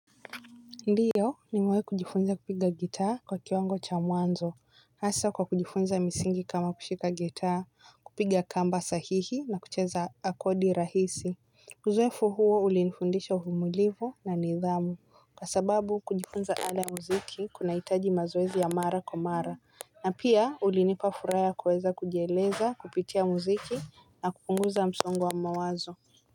Ndiyo nimewahi kujifunza kupiga gitaa kwa kiwango cha mwanzo. Hasa kwa kujifunza misingi kama kushika gitaa, kupiga kamba sahihi na kucheza akodi rahisi. Uzoefu huo ulinifundisha uvumilivu na nidhamu. Kwa sababu kujifunza ala ya muziki kunahitaji mazoezi ya mara kwa mara. Na pia ulinipa furaha ya kuweza kujieleza kupitia muziki na kupunguza msongo wa mwazo.